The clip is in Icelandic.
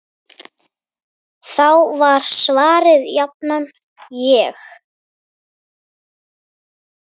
Þá var svarið jafnan: Ég?!